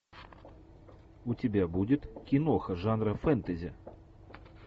у тебя будет киноха жанра фэнтези